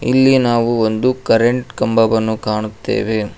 ಇಲ್ಲಿ ನಾವು ಒಂದು ಕರೆಂಟ್ ಕಂಬವನ್ನು ಕಾಣುತ್ತೆವೆ.